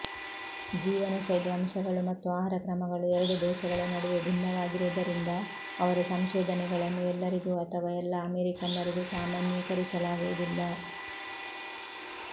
ಜೀವನಶೈಲಿ ಅಂಶಗಳು ಮತ್ತು ಆಹಾರಕ್ರಮಗಳು ಎರಡು ದೇಶಗಳ ನಡುವೆ ಭಿನ್ನವಾಗಿರುವುದರಿಂದ ಅವರ ಸಂಶೋಧನೆಗಳನ್ನು ಎಲ್ಲರಿಗೂ ಅಥವಾ ಎಲ್ಲ ಅಮೆರಿಕನ್ನರಿಗೂ ಸಾಮಾನ್ಯೀಕರಿಸಲಾಗುವುದಿಲ್ಲ